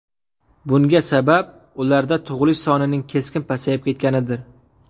Bunga sabab ularda tug‘ilish sonining keskin pasayib ketganidir.